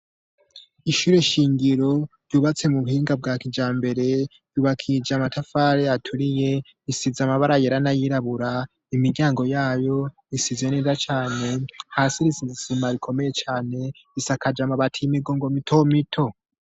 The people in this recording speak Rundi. Ishure shingiro ryubatse mu buhinga bwa kija mbere yubakija amatafare aturiye risiza amabara yerana yirabura imiryango yayo risize neda cane hasi risiza isima rikomeye cane risakaje amabati y'imigongo mito mito.